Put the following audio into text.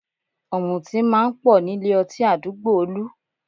Ọ̀mùtí máa ń pọ̀ nílé ọtí àdúgbò Olú